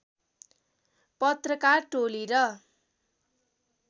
पत्रकार टोली र